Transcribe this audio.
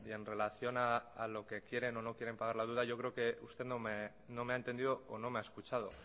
en relación a lo que quieren o no quieren pagar la deuda yo creo que usted no me ha entendido o no me ha escuchado